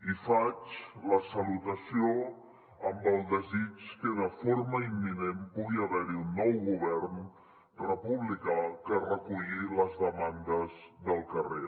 i faig la salutació amb el desig que de forma imminent pugui haver hi un nou govern republicà que reculli les demandes del carrer